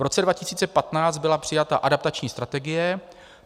V roce 2015 byla přijata adaptační strategie.